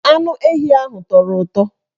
Anu ehi ahụ tọrọ ụtọ